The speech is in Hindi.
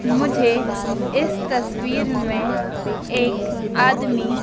मुझे इस तस्वीर में एक आदमी--